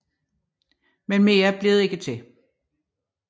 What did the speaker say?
Men mere blev det ikke til